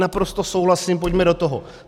Naprosto souhlasím, pojďme do toho.